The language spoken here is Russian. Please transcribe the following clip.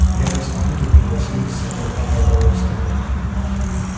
ярость и битвы приносили с собой одно удовольствие